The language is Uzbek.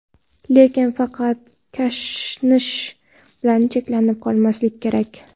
Lekin faqat kashnich bilan cheklanib qolmaslik kerak!